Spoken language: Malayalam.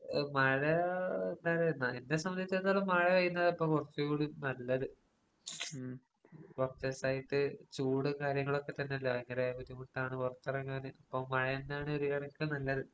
അതെ അതെ മനസിലായി മഴ എന്നെ സംബന്ധിച്ചിടത്തോളം മഴപെയ്യുന്നതാണ് ഇപ്പൊ കൊറച്ചുകൂടി നല്ലത് ഉം കൊറച്ചോസായിട്ട് ചൂട് കാര്യങ്ങളൊക്കെ തന്നെയല്ലേ ഭയങ്കര ബുദ്ധിമുട്ടാണ് പൊറത്തെറങ്ങാന് ഇപ്പൊ മഴ തന്നെയാണ് ഒരു കണക്കിന് നല്ലത്.